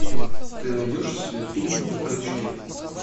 ты найдешь у себя фильм на крючке